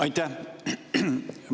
Aitäh!